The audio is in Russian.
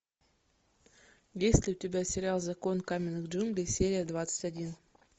есть ли у тебя сериал закон каменных джунглей серия двадцать один